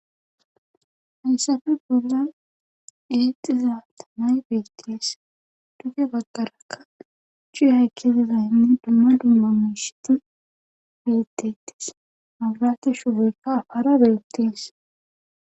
Hayssappe bollan eexiza taamay beetees. duge bagarakka cuway kezidaynne dumma dumma miishati beetetes mabirate shufoykka hakara beetees.